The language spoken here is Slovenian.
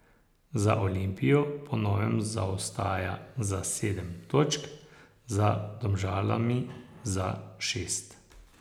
Za Olimpijo po novem zaostaja za sedem točk, za Domžalami za šest.